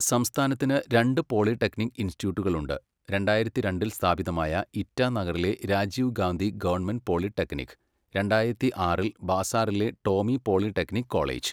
സംസ്ഥാനത്തിന് രണ്ട് പോളിടെക്നിക് ഇൻസ്റ്റിറ്റ്യൂട്ടുകളുണ്ട്. രണ്ടായിരത്തി രണ്ടിൽ സ്ഥാപിതമായ ഇറ്റാനഗറിലെ രാജീവ് ഗാന്ധി ഗവൺമെന്റ് പോളിടെക്നിക്, രണ്ടായിരത്തിയാറിൽ ബാസാറിലെ ടോമി പോളിടെക്നിക് കോളേജ്.